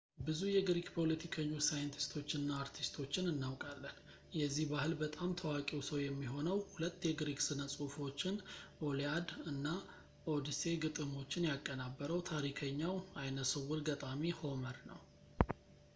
ብዙ የግሪክ ፖለቲከኞች ሳይንቲስቶች እና አርቲስቶችን እናውቃለን የዚህ ባህል በጣም ታዋቂው ሰው የሚሆነው ሁለት የግሪክ ስነ ጽሁፎችን ኢሊኣድ እና ኦድሴይ ግጥሞችን ያቀናበረው ታሪከኛው አይነስውር ገጣሚ ሆመር ነው